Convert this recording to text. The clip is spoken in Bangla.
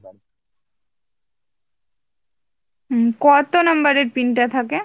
উম কত number এর pin টা থাকে ?